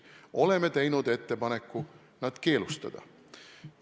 Oleme teinud ettepaneku need keelustada.